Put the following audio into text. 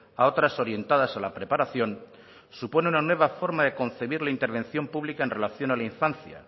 a otras orientadas a la preparación supone una nueva forma de concebir la intervención pública en relación a la infancia